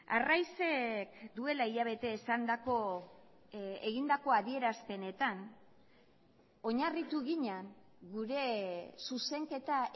arraizek duela hilabete esandako egindako adierazpenetan oinarritu ginen gure zuzenketa